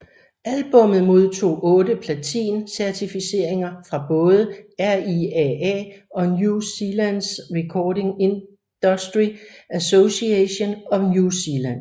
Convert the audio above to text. Albummet modtog otte platin certificeringer fra både RIAA og New Zealands Recording Industry Association of New Zealand